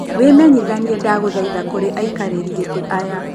Wĩmenyithanie ndagũthaitha kũrĩ aikarĩri gĩtĩ aya.